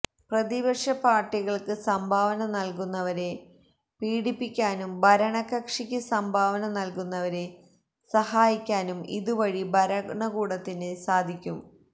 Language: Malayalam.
പ്രതിപക്ഷ പാർട്ടികൾക്ക് സംഭാവന നൽകുന്നവരെ പീഡിപ്പിക്കാനും ഭരണകക്ഷിക്ക് സംഭാവന നൽകുന്നവരെ സഹായിക്കാനും ഇതുവഴി ഭരണകൂടത്തിന് സാധിക്കും